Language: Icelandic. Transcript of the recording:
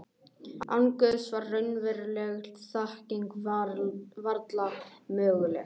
Án Guðs var raunveruleg þekking varla möguleg.